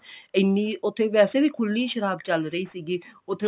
ਇੰਨੀ ਉੱਥੇ ਵੈਸੇ ਵੀ ਖੁੱਲੀ ਸ਼ਰਾਬ ਚੱਲ ਰਹੀ ਸੀ ਉੱਥੇ